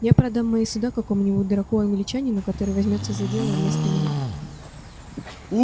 я продам мои суда какому-нибудь дураку-англичанину который возьмётся за дело вместо меня